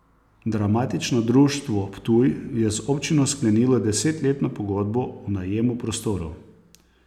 Dramatično društvo Ptuj je z občino sklenilo desetletno pogodbo o najemu prostorov.